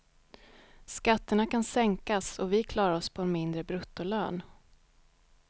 Skatterna kan sänkas och vi klarar oss på en mindre bruttolön.